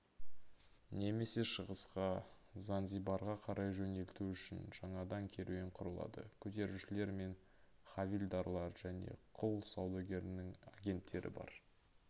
немесе шығысқа занзибарға қарай жөнелту үшін жаңадан керуен құрылады көтерушілер мен хавильдарлар және құл саудагерінің агенттері бар